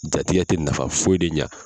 Jatigi tɛ nafa foyi de ɲa.